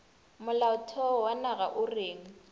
molaotheo wa naga o reng